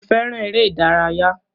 Mo fẹràn eré ìdárayá.